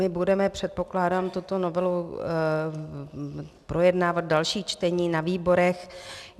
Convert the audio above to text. My budeme, předpokládám, tuto novelu projednávat v dalších čteních na výborech.